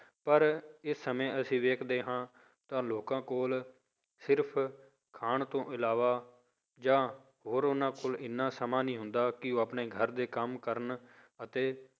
ਪਰ ਇਹ ਸਮੇਂ ਅਸੀਂ ਵੇਖਦੇ ਹਾਂ ਤਾਂ ਲੋਕਾਂ ਕੋਲ ਸਿਰਫ਼ ਖਾਣ ਤੋਂ ਇਲਾਵਾ ਜਾਂ ਹੋਰ ਉਹਨਾਂ ਕੋਲ ਇੰਨਾ ਸਮਾਂ ਨਹੀਂ ਹੁੰਦਾ ਕਿ ਉਹ ਆਪਣੇ ਘਰ ਦੇ ਕੰਮ ਕਰਨ ਅਤੇ